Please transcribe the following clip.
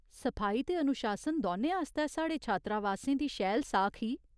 सफाई ते अनुशासन दौनें आस्तै साढ़े छात्रावासें दी शैल साख ही।